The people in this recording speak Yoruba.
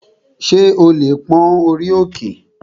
Ṣé o lè pón orí òkè?